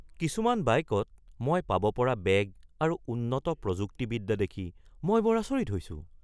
কিছুমান বাইকত মই পাব পৰা বেগ আৰু উন্নত প্ৰযুক্তিবিদ্যা দেখি মই বৰ আচৰিত হৈছোঁ।